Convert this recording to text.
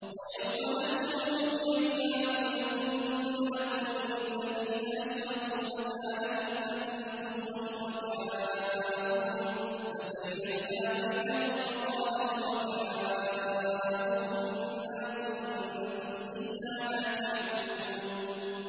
وَيَوْمَ نَحْشُرُهُمْ جَمِيعًا ثُمَّ نَقُولُ لِلَّذِينَ أَشْرَكُوا مَكَانَكُمْ أَنتُمْ وَشُرَكَاؤُكُمْ ۚ فَزَيَّلْنَا بَيْنَهُمْ ۖ وَقَالَ شُرَكَاؤُهُم مَّا كُنتُمْ إِيَّانَا تَعْبُدُونَ